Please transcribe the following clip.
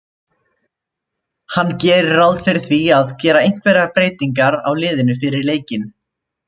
Hann gerir ráð fyrir því að gera einhverjar breytingar á liðinu fyrir leikinn.